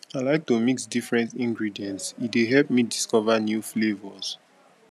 i like to mix different ingredients e dey help me discover new flavors